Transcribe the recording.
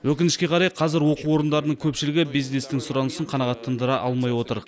өкінішке қарай қазір оқу орындарының көпшілігі бизнестің сұранысын қанағаттандыра алмай отыр